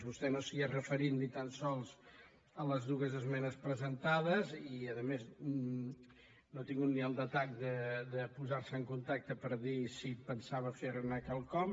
vostè no s’hi ha referit ni tan sols a les dues esmenes presentades i a més no ha tingut ni el detall de posar se en contacte per dir si pensava fer ne quelcom